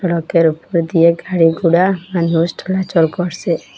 রোকের উপর দিয়ে গাড়িঘুরা মানুষ চলাচল করসে।